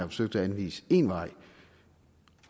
forsøgt at anvise én vej